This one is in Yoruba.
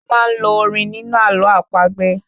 A máá ń lo orin nínú àlọ́ àpagbè